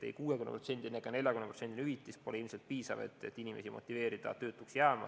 Ei 60%-ne ega 40%-ne hüvitis pole ilmselt piisav, et inimesi motiveerida töötuks jääma.